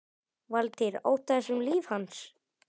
Valtýr: Óttaðist um líf hans?